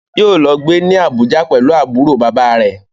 Yóò lọ gbé ní Abuja pẹ̀lú àbúrò bàbáa rẹ̀.